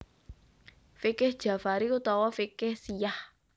Fiqih Jafari utawa Fiqih Syiah